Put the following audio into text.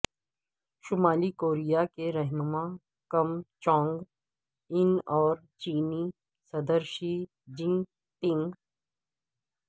شمالی کوریا کے رہنما کم جونگ ان اور چینی صدر شی جن پنگ